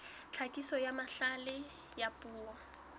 tlhakiso ya mahlale a puo